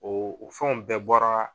O o fɛnw bɛɛ bɔra